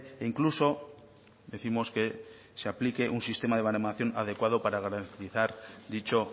e incluso décimos que se aplique un sistema de baremación adecuado para garantizar dicho